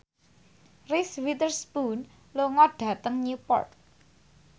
Reese Witherspoon lunga dhateng Newport